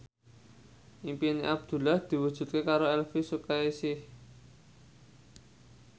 impine Abdullah diwujudke karo Elvy Sukaesih